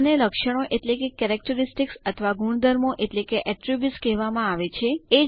આને લક્ષણો એટલે કે કેરેક્ટેરિસ્ટિક્સ અથવા ગુણધર્મો એટલે કે એટ્રીબ્યુટ્સ કહેવામાં આવે છે